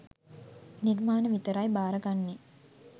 නිර්මාණ විතරයි බාර ගන්නේ